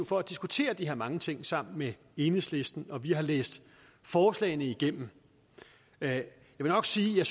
for at diskutere de her mange ting sammen med enhedslisten og vi har læst forslagene igennem jeg vil nok sige at